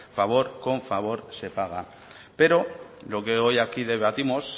favor con favor se paga pero lo que hoy aquí debatimos